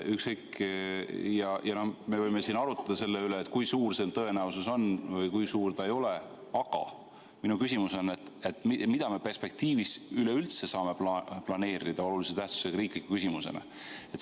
Ja me võime siin arutleda selle üle, kui suur see tõenäosus on või kui suur see ei ole, aga minu küsimus on, et mida me perspektiivis üleüldse saame planeerida olulise tähtsusega riikliku küsimusena.